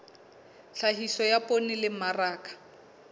tlhahiso ya poone le mmaraka